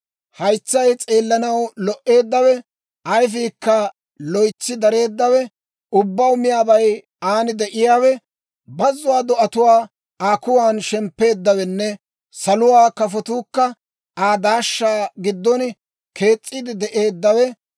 haytsay s'eellanaw lo"eeddawe, ayifiikka loytsi dareeddawe, ubbaw miyaabay aan de'iyaawe, bazzuwaa do'atuu Aa kuwan shemppeeddawenne saluwaa kafotuukka Aa daashshaa giddon kees's'iide de'eeddawe,